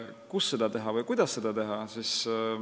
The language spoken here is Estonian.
Kus seda teha või kuidas seda teha?